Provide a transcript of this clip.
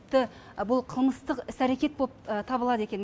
тіпті бұл қылмыстық іс әрекет табылады екен